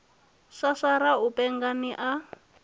swaswara u penga ni a